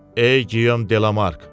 Ey Giyom Delamark!